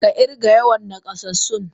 Ka kirga yawan nakasassun.!